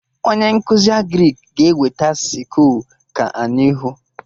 Onye nkụzi Agrịk ga-eweta sịkụl ka anyị hụ